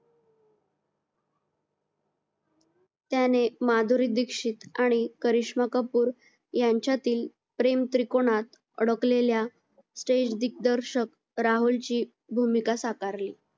त्याने माधुरी दीक्षित आणि करिष्मा कपूर यांच्यातील प्रेम त्रिकोणात अडकलेल्या stage दिग्दर्शक राहुलची भूमिका साकारली